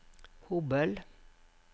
Hobøl